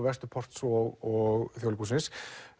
Vesturports og Þjóðleikhússins